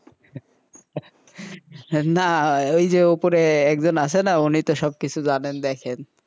না ওই যে উপরে একজন আছেন উনি সব জানেন জানেন দেখেন,